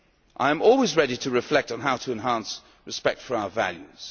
them. I am always ready to reflect on how to enhance respect for our values.